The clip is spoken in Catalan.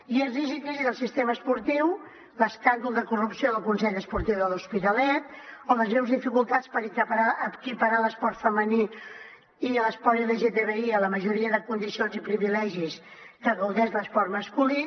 i és risc i crisi del sistema esportiu l’escàndol de corrupció del consell esportiu de l’hospitalet o les greus dificultats per equiparar l’esport femení i l’esport lgtbi a la majoria de condicions i privilegis que gaudeix l’esport masculí